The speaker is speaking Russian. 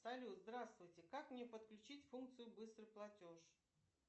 салют здравствуйте как мне подключить функцию быстрый платеж